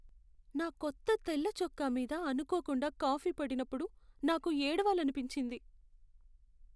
నా కొత్త తెల్ల చొక్కా మీద అనుకోకుండా కాఫీ పడినప్పుడు నాకు ఏడవాలనిపించింది.